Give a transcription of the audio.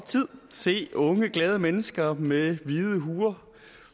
tid se unge glade mennesker med hvide huer